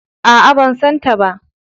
A'a, ban santa ba.